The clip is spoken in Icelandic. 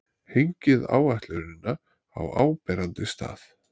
Hengið áætlunina á áberandi stað.